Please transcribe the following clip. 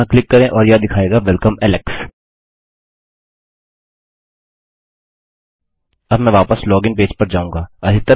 यहाँ क्लिक करें और यह दिखायेगा वेलकम alex अब मैं वापस लॉगिन पेज पर जाऊँगा